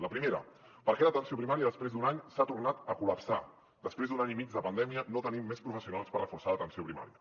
la primera per què l’atenció primària després d’un any s’ha tornat a col·lapsar després d’un any i mig de pandèmia no tenim més professionals per reforçar l’atenció primària